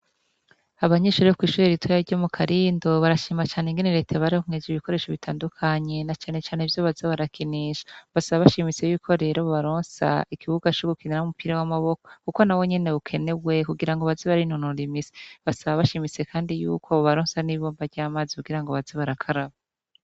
Abanyeshure bo kw'ishure ritoya ryo mu Karindo, barashima cane ingene Reta yabaronkeje ibikoresho bitandukanye, na cane cane ivyo baza barakinisha. Basaba bashimitse rero yuko bobaronsa, ikibuga co gukiniramwo umupira w'amaboko, kuko nawo nyene ukenewe, kugira ngo baze barinonora imitsi. Basaba bashimitse kandi yuko, bobaronsa n'ibomba ry'amazi kigira ngo baze barakaraba.